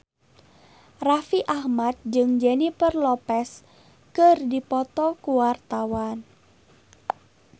Raffi Ahmad jeung Jennifer Lopez keur dipoto ku wartawan